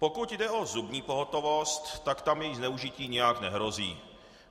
Pokud jde o zubní pohotovost, tak tam její zneužití nijak nehrozí.